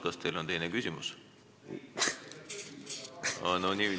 Kas teil on teine küsimus?